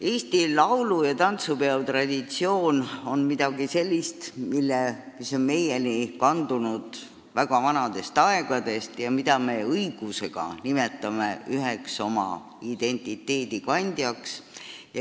Eesti laulu- ja tantsupeo traditsioon on midagi sellist, mis on meieni kandunud väga vanadest aegadest ja mida me õigusega nimetame üheks oma identiteedi kandjaks.